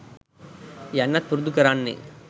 යන්නත් පුරුදු කරන්නේ